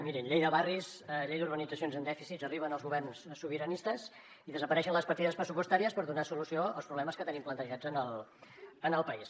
mirin llei de barris llei d’urbanitzacions amb dèficits arriben els governs sobiranistes i desapareixen les partides pressupostàries per donar solució als problemes que tenim plantejats en el país